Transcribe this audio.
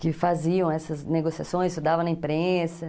Que faziam essas negociações, isso dava na imprensa.